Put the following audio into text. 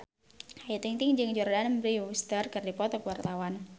Ayu Ting-ting jeung Jordana Brewster keur dipoto ku wartawan